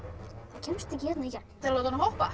kemst ekki hérna í gegn til að láta hana hoppa